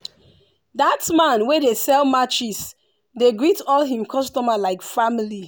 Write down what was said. that man wey dey sell matches dey greet all him customer like family.